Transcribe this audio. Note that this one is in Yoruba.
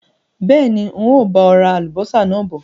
Bẹ́ẹ̀ni, ń ó bọ̀ ra Àlùbọ́sà náà bọ̀